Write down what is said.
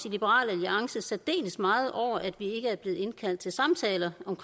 liberal alliance særdeles meget over at vi ikke er blevet indkaldt til samtaler om